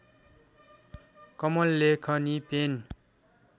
कलम लेखनी पेन